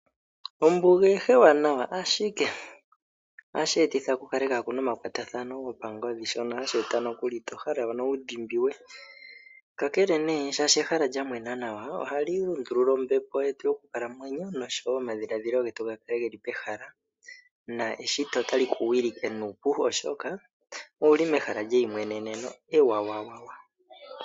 Ombuga eha ewanawa, ashike ohashi etitha ku kale pwaa na omakwatathano gopangodhi shono hashi etitha to hala wu dhimbiwe. Kakele shaashi ehala lya mwena nawa ohali lundulula ombepo yetu yokukalamwenyo nosho wo omadhiladhilo getu ga kele ge li pehala neshito otali ku wilike nuupu, oshoka owu li mehala lyeimweneneno ewawawawa.